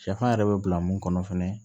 Sɛfan yɛrɛ bɛ bila mun kɔnɔ fɛnɛ